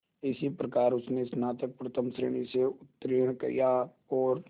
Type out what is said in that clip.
इस प्रकार उसने स्नातक प्रथम श्रेणी से उत्तीर्ण किया और